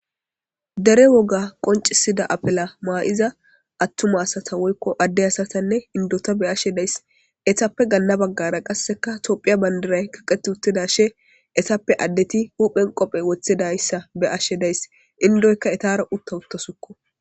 Dere woga qoncisida apela maa7iza attuma asata woykko adde asatanne indota be ashe days esappe ganna baggara qasseka tophiya bandiray kaqet uttida she esappe addeti huphen qophe wothidayssa be ashe days indoykka etara utta uttosukko.